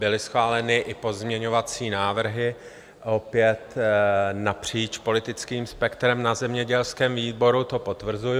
Byly schváleny i pozměňovací návrhy opět napříč politickým spektrem na zemědělském výboru, to potvrzuju.